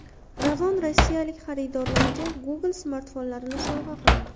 Ravon rossiyalik xaridorlariga Google smartfonlarini sovg‘a qiladi.